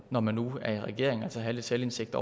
når man nu er i regering altså have lidt selvindsigt